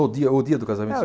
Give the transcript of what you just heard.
O dia o dia do casamento? É